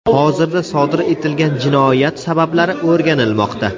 Hozirda sodir etilgan jinoyat sabablari o‘rganilmoqda.